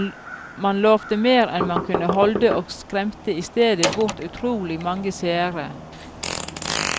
Man lovte mer enn man kunne holde, og skremte i stedet bort utrolig mange seere.